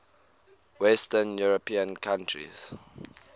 western european countries